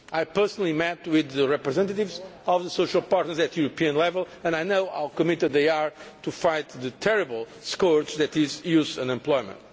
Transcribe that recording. I personally met with the representatives of the social partners at European level and I know how committed they are to fighting the terrible scourge that is youth unemployment.